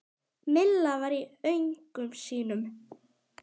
Milla var í öngum sínum.